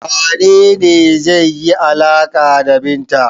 Wane ne zai yi alaƙa da Binta?